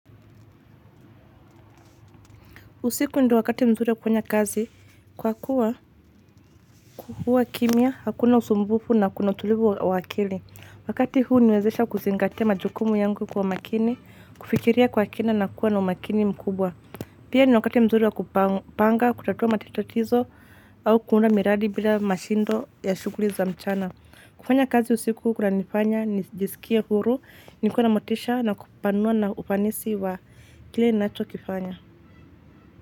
Usiku ndo wakati mzuri wa kuwanya kazi kwa kuwa huwa kimya hakuna usumbufu na kuna tulivu wa akili wakati huu huniwezesha kuzingatia majukumu yangu kwa makini kufikiria kwa kina na kuwa na umakini mkubwa. Pia ni wakati mzuri wa kupanga kutatua matito au kuunda miradi bila mashindo ya shuguri za mchana. Kufanya kazi usiku kuna nifanya nijisikie huru nikue namotisha na kupanua na ufanisi wa kile nachokifanya.